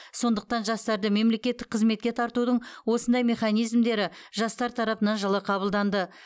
сондықтан жастарды мемлекеттік қызметке тартудың осындай механизмдері жастар тарапынан жылы қабылданды